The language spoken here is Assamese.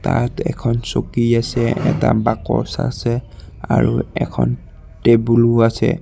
ইয়াত এখন চকী আছে এটা বাকচ আছে আৰু এখন টেবুল ও আছে।